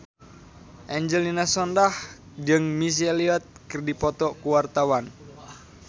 Angelina Sondakh jeung Missy Elliott keur dipoto ku wartawan